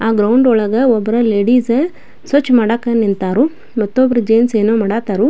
ಆ ಗ್ರೌಂಡ್ ಒಳಗೆ ಒಬ್ರು ಲೇಡೀಸ್ ಸ್ವಚ್ ಮಾಡಕ್ಕೆ ನಿಂತಾರು ಮತ್ತು ಒಬ್ರು ಜೆಂಟ್ಸ್ ಏನೋ ಮಾಡಾತಾರು.